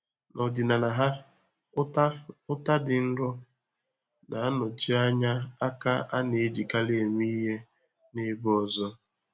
N'ọdịnala ha, ụta ụta dị nro na-anọchi anya aka a na-ejikarị eme ihe n'ebe ọzọ.